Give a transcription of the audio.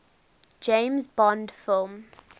james bond film